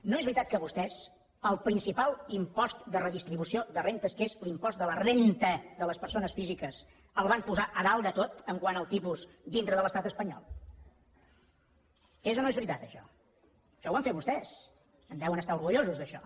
no és veritat que vostès el principal impost de redistribució de rendes que és l’impost de la rendafísiques el van posar a dalt de tot quant al tipus dintre de l’estat espanyol és o no és veritat això això ho van fer vostès en deuen estar orgullosos d’això